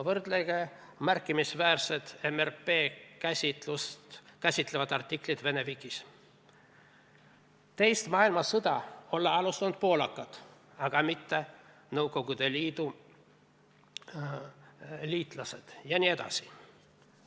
Võrrelge märkimisväärset MRP-d käsitlevat artiklit Vene vikis: teist maailmasõda olla alustanud poolakad, aga mitte Nõukogude Liidu liitlased jne.